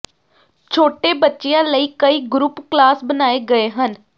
ਛੋਟੇ ਬੱਚਿਆਂ ਲਈ ਕਈ ਗਰੁੱਪ ਕਲਾਸ ਬਣਾਏ ਗਏ ਹਨ